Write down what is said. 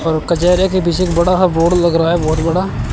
और कचहरे के पीछे बड़ा सा बोर्ड लग रहा है बहोत बड़ा।